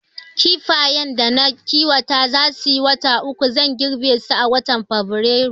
Kifayen da na kiwata za suyi wata uku, zan girbe su a watan Fabrairu